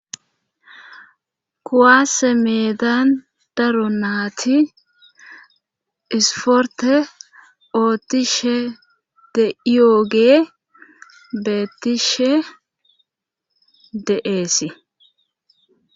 kuwase meedan daro naati isporte ootishe de'ioogee beettishe de'eesi